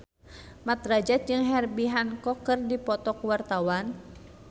Mat Drajat jeung Herbie Hancock keur dipoto ku wartawan